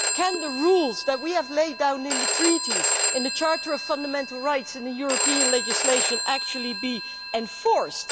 Can the rules that we have laid down in the treaties, in the Charter of Fundamental Rights, in European legislation, actually be enforced?